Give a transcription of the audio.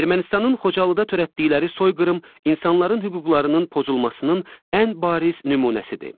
Ermənistanın Xocalıda törətdikləri soyqırım insanların hüquqlarının pozulmasının ən bariz nümunəsidir.